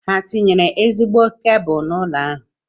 Ha tinyere ezigbo kebụlụ n'ụlọ ahụ?